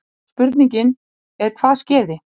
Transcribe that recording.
Spurningin er hvað skeði?